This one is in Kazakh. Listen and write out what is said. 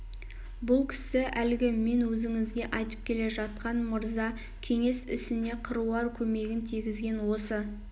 бұл кісі әлгі мен өзіңізге айтып келе жатқан мырза кеңес ісіне қыруар көмегін тигізген осы